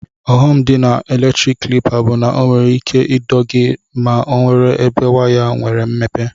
Ughọm di na eletrik klipa bu na onwere ike ido gi ma onwere ebe waya nwere mmepe.